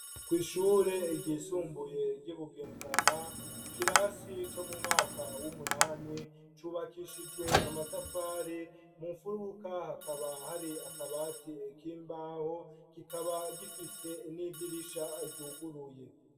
Kw'ishure ryisumbuye, ry'i Bugendana, ikirasi, co mu mwaka w'umunani, cubakishijwe amatafari; mu mfuruka, hakaba hari akabati, k'imbaho; kikaba, gifise n'idirisha, ryuguruye.